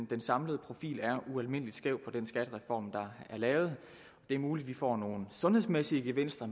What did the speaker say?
den samlede profil er ualmindelig skæv for den skattereform der er lavet det er muligt vi får nogle sundhedsmæssige gevinster